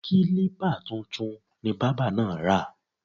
Kílípà tuntun ni bábà náà ra